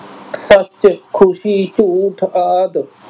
ਸੱਚ, ਖੁਸ਼ੀ, ਝੂਠ ਆਦਿ।